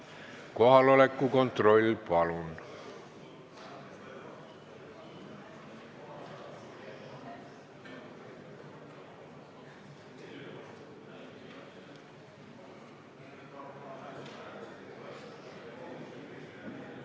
Kohaloleku kontroll, palun!